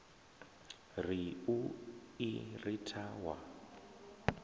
ri u i ritha wa